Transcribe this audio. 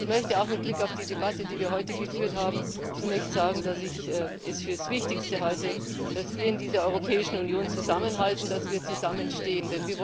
Ich möchte mit Blick auf die Debatte, die wir heute geführt haben, zunächst sagen, dass ich es für das Wichtigste halte, dass wir in dieser Europäischen Union zusammenhalten, dass wir zusammenstehen.